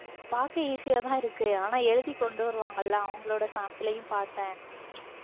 பார்க்க easy யாதான் இருக்கு ஆனா எழுதி கொண்டு வருவாங்கல்ல அவங்களோட sample யும் பார்த்தேன்